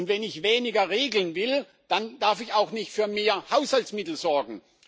Und wenn ich weniger regeln will, dann darf ich auch nicht für mehr Haushaltsmittel sorgen.